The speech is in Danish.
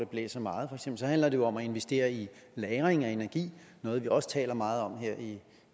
blæser meget så handler det jo om at investere i lagring af energi noget vi også taler meget om her i